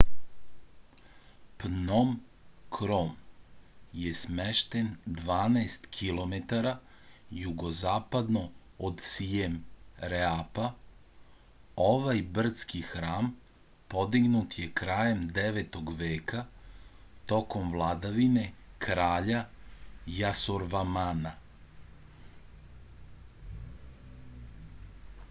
pnom krom je smešten 12 km jugozapadno od sijem reapa ovaj brdski hram podignut je krajem 9. veka tokom vladavine kralja jasorvamana